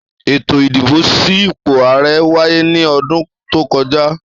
Ètò ìdìbò sí ipò ààrẹ wáyé ní ọdún tó kọjá.